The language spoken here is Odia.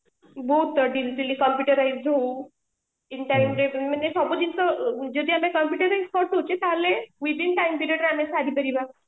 ବହୁତ in timeରେ ମାନେ ସବୁ ଜିନିଷ ଯଦି ଆମେ ପଠାଉଚେ ତାହେଲେ within time period ରେ ସରିପାରିବା